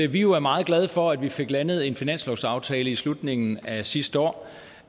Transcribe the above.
vi jo er meget glade for at vi fik landet en finanslovsaftale i slutningen af sidste år